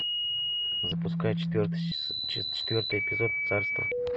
запускай четвертый эпизод царство